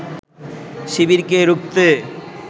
শিবিরকে রুখতে